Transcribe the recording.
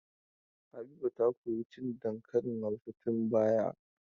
Habiba ta koyi cin dankalin Hausa tun bara.